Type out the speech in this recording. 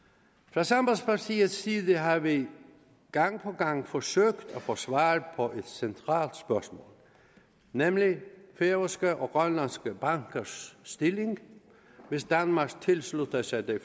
fra sambandspartiets side har vi gang på gang forsøgt at få svar på et centralt spørgsmål nemlig færøske og grønlandske bankers stilling hvis danmark tilslutter sig det